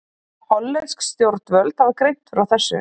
Hollensk stjórnvöld hafa greint frá þessu